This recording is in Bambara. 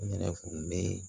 N yɛrɛ kun bɛ